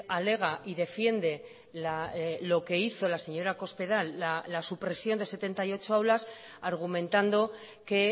alega y defiende lo que hizo la señora cospedal la supresión de setenta y ocho aulas argumentando que